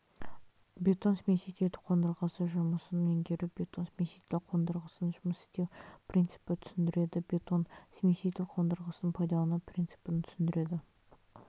бетон смемитель қондырғысы жұмысын меңгеру бетон сместитель қондырғысын жұмыс істеу принципін түсіндіреді бетон смеситель қондырғысын пайдалану принципін түсіндіреді